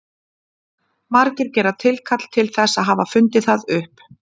Margir gera tilkall til þess að hafa fundið það upp.